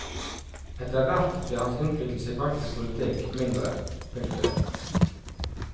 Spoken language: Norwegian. Etter hvert ble hans innflytelse i praktisk politikk mindre. punktum